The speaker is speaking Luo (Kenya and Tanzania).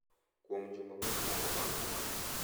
kuom juma mokwongo bang’ nyuol.